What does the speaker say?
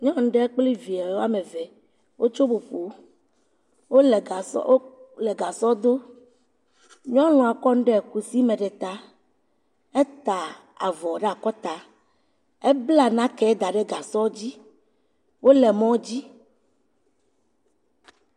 Nyɔnu ɖe pkli vie woame eve, wotso …wole gasɔ dom, nyɔnua kɔ nu le kusi me ɖe ta, eta avɔ ɖe akɔta, ebla nake da ɖe gasɔ dzi, wole mɔdzi.